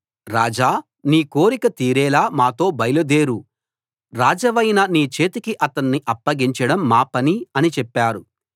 రాజా నీ కోరిక తీరేలా మాతో బయలుదేరు రాజవైన నీ చేతికి అతణ్ణి అప్పగించడం మా పని అని చెప్పారు